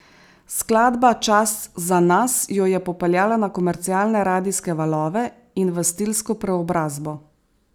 Skladba Čas za nas jo je popeljala na komercialne radijske valove in v stilsko preobrazbo.